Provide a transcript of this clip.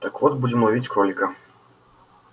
так вот будем ловить кролика